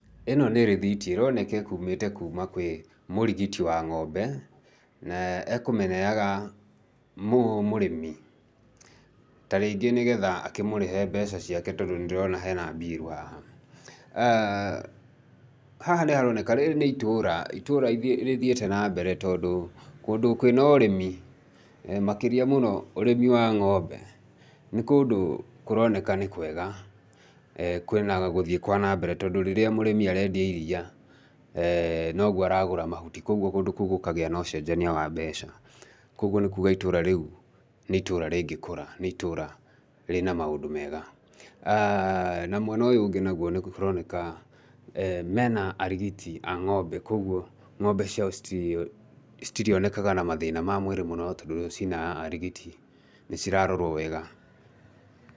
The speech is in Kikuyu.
Ĩno nĩ rĩthiti ĩroneka ĩkumĩte kwĩ mũrigiti wa ng'ombe na ekũmĩneaga mũrĩmi tarĩngĩ nĩ getha nĩgetha akĩmũrĩhe mbeca ciake tondũ nĩ ndĩrona hena mbiru haha. Haha nĩ haroneka, rĩrĩ nĩ itũra, itũra rĩthiĩte nambere tondũ kũndũ kwina ũrĩmi, makĩria mũno ũrĩmi wa ngómbe, nĩ kũndũ kũroneka nĩ kwega, kwĩna gũthiĩ kwana mbere tondũ rĩrĩa mũrĩmi arendia iria, no guo aragũra mahuti kuoguo kũndũ kũu gũkagĩa na ũcenjania wa mbeca. Kuoguo nĩ kuuga itũra rĩu nĩ itũra rĩngĩkũra, itũra rĩ na maũndũ mega. Na mwena ũyũ ũngĩ nĩ kũroneka mena arigiti a ngómbe, kuoguo ng'ombe ciao citirionekaga na mathĩna ma mwĩrĩ mũno tondũ cina arigiti, nĩ cirarorwo wega.